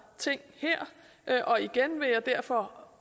ting her og igen vil jeg derfor